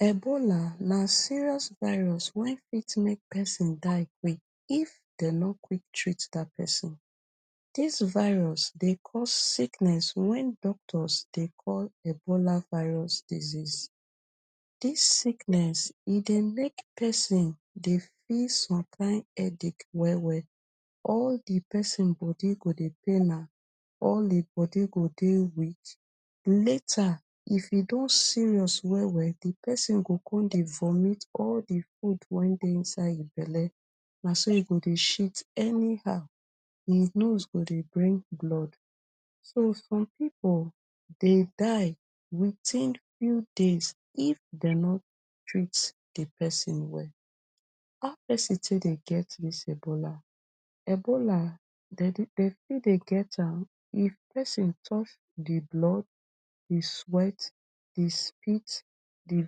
Ebola na serious viros when fit make pesin die quick if dem not quick treat dat person dis viros dey cause sickness wen doctors dey call Ebola virus disease dis sickness e dey make pesin dey fit feel some kind headache well well all di pesin body go dey pain am all di body go dey weak later if e don serious well well di pesin go come dey vomit all di food wen dey inside him belle na so e go dey shit anyhow him nose go dey bring blood so some people dey die witin few days if dem no treats di pesin well how pesin take dey get dis Ebola Ebola dey too dey get am if pesin touch di blood di sweat di spite di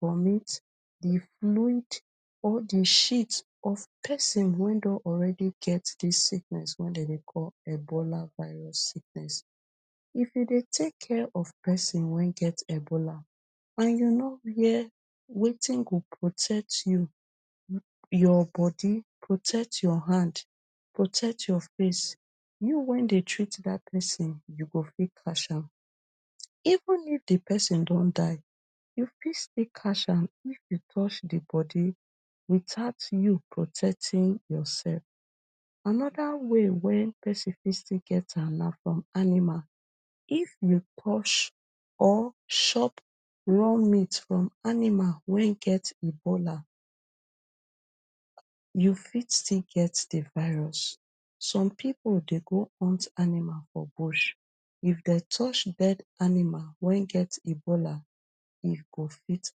vomit di fluid or di shit of pesin wen don already get dis sickness wen dey dey call Ebola virus sickness if you dey take care of pesin wen get Ebola and you no wear wetin go protect you your bodi protect your hand protect your face you wen dem treat dat pesin you go fit catch am even if di pesin don die you fit still catch am if you touch di bodi without you protecting yourself anoda way wen pesin fit get am na from animal if you touch or shop raw meet from animal wen get Ebola you fit still get di virus some people dey go hunt animal for bush if dem touche died animal wen get Ebola e go fit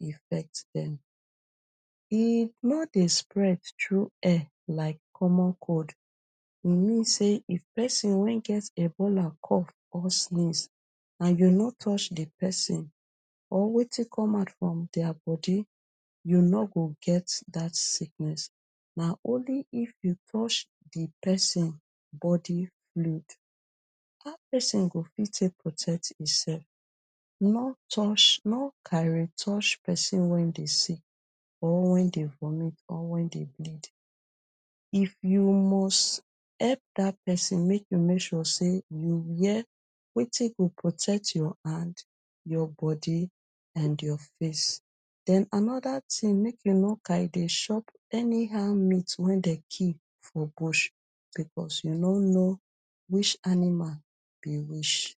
infect dem e no dey spread through air like common cold e mean say if pesin way get Ebola cough or sneeze and you no touche di pesin or wetin come out from their bodi you no go get dat sickness na only if you touch di pesin bodi fluid how pesin go fit protect no touche no carry touche di pesin wen dey sick or wen den vomit or wen dey bleed if you must help dat pesin make you make sure say you wear wetin go protect hand your bodi and your face den anoda tin make you no kind dey shop any how meat wen dem kill for bush becos you no no which animal be which